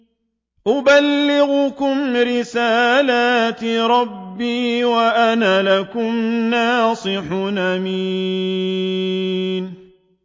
أُبَلِّغُكُمْ رِسَالَاتِ رَبِّي وَأَنَا لَكُمْ نَاصِحٌ أَمِينٌ